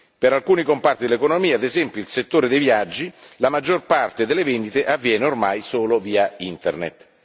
Per alcuni comparti dell'economia, ad esempio il settore dei viaggi, la maggior parte delle vendite avviene ormai solo via Internet.